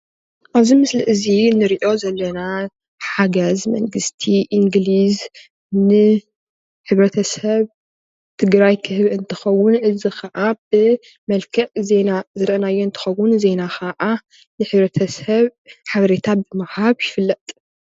አብዚ ምስሊ እዚ ንሪኦ ዘለና ሓገዝ መንግስቲ እንግሊዝ ንሕብረተሰብ ትግራይ ክህብ እንትኸውን እዙይ ከዓ ብመልክዕ ዜና ዝርኣናዮ እንትከውን ዜና ከዓ ንሕብረተስብ ሓበሬታ ብምሃብ ይፍለጥ።